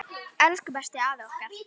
Elsku besti afi okkar.